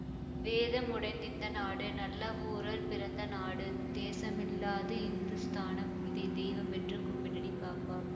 வடக்கில் இமயமலை பாப்பா தெற்கில் வாழும் குமரிமுனை பாப்பா கிடக்கும் பெரிய கடல் கண்டாய் இதன் கிழக்கிலும் மேற்கிலும் பாப்பா